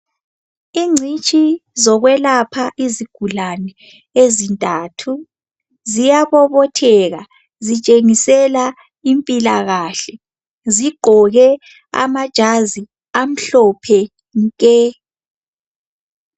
Ingcitshi zokwelapha izigulane ezintathu ziyabobotheka zitshengisela impilakahle .Zigqoke amajazi amhlophe nke.